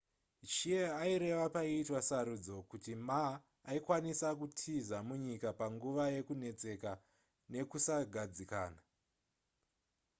hsieh aireva paiitwa sarudzo kuti ma aikwanisa kutiza munyika panguva yekunetseka nekusagadzikana